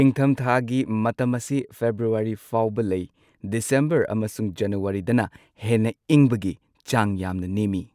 ꯏꯪꯊꯝꯊꯥꯒꯤ ꯃꯇꯝ ꯑꯁꯤ ꯐꯦꯕ꯭ꯔꯨꯋꯥꯔꯤ ꯐꯥꯎꯕ ꯂꯩ꯫ ꯗꯤꯁꯦꯝꯕꯔ ꯑꯃꯁꯨꯡ ꯖꯅꯨꯋꯥꯔꯤꯗꯅ ꯍꯦꯟꯅ ꯏꯪꯕꯒꯤ ꯆꯥꯡ ꯌꯥꯝꯅ ꯅꯦꯝꯃꯤ꯫